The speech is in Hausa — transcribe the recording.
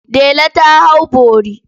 Dela ta hau bori.